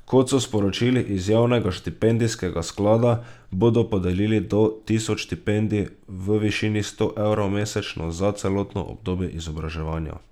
Kot so sporočili iz javnega štipendijskega sklada, bodo podelili do tisoč štipendij v višini sto evrov mesečno za celotno obdobje izobraževanja.